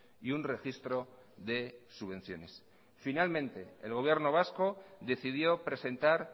y un registro de subvenciones finalmente el gobierno vasco decidió presentar